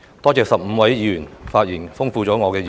我感謝15位議員的發言，豐富了我的議案。